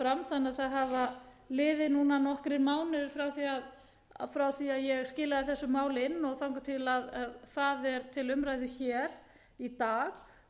að það hafa liðið núna nokkrir mánuðir frá því að ég skilaði þessu máli inn og þangað til það er til umræðu hér í dag